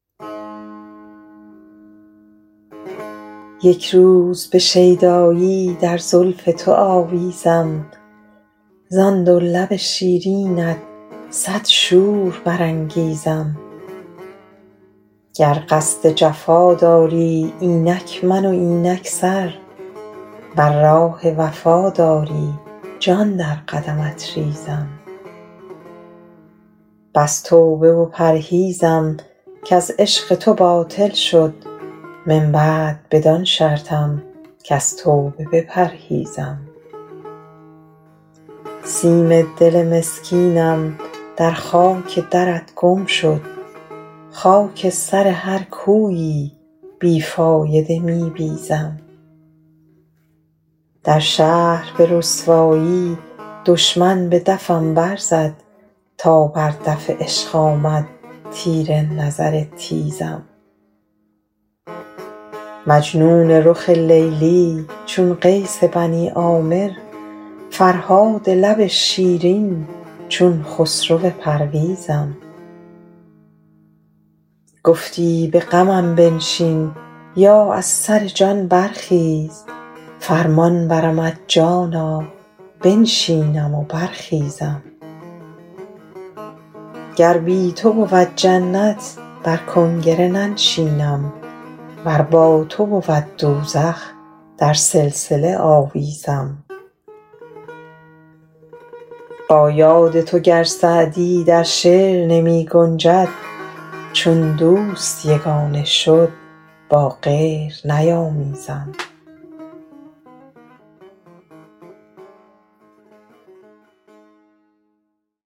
یک روز به شیدایی در زلف تو آویزم زان دو لب شیرینت صد شور برانگیزم گر قصد جفا داری اینک من و اینک سر ور راه وفا داری جان در قدمت ریزم بس توبه و پرهیزم کز عشق تو باطل شد من بعد بدان شرطم کز توبه بپرهیزم سیم دل مسکینم در خاک درت گم شد خاک سر هر کویی بی فایده می بیزم در شهر به رسوایی دشمن به دفم برزد تا بر دف عشق آمد تیر نظر تیزم مجنون رخ لیلی چون قیس بنی عامر فرهاد لب شیرین چون خسرو پرویزم گفتی به غمم بنشین یا از سر جان برخیز فرمان برمت جانا بنشینم و برخیزم گر بی تو بود جنت بر کنگره ننشینم ور با تو بود دوزخ در سلسله آویزم با یاد تو گر سعدی در شعر نمی گنجد چون دوست یگانه شد با غیر نیامیزم